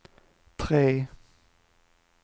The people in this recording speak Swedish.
tre